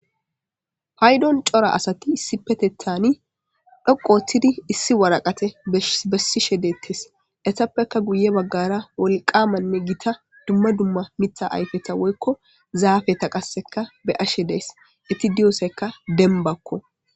Paydon cora assati issipetetan dhoqu othidi issi waraqate besishe detesi. Etappeka guye Bagara wolqamanne Gita dumma dumma Mitha ayfeta woyko zafeta qaseka be'ashe days, eti diya soy dembako.